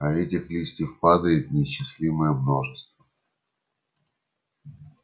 а этих листьев падает неисчислимое множество